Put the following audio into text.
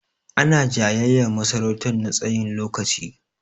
Ana jayayyar masarautan na tsayin lokaci.